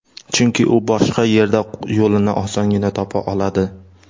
Chunki u boshqa yerda yo‘lini osongina topa oladi.